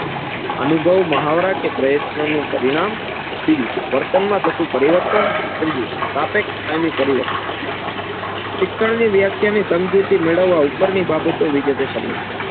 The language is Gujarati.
અનુભવ મહાવરા કે પ્રયત્ન નું પરિણામ બીજું વર્તન માં થતું પરિવર્તન ત્રીજું સાપેક્ષ કાયમી પરિવર્તન. શિક્ષણની વ્યાખ્યા ની સમજૂતી મેડવવા ઉપર ની બાબતો વિગતે સમજીએ.